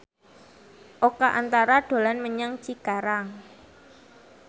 Oka Antara dolan menyang Cikarang